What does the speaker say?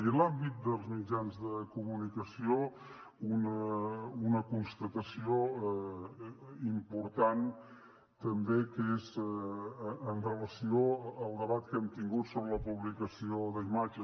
i en l’àmbit dels mitjans de comunicació una constatació important també que és amb relació al debat que hem tingut sobre la publicació d’imatges